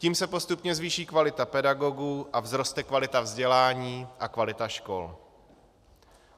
Tím se postupně zvýší kvalita pedagogů a vzroste kvalita vzdělání a kvalita škol.